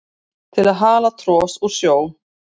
til að hala tros úr sjó